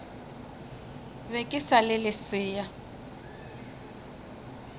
be ke sa le lesea